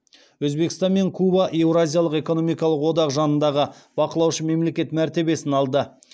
өзбекстан мен куба еуразиялық экономикалық одақ жанындағы бақылаушы мемлекет мәртебесін алды